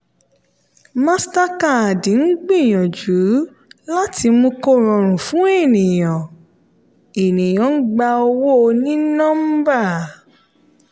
mastercard ń gbìyànjú láti mú kó rọrùn fún ènìyàn ènìyàn gba owó oní nọ́mbà.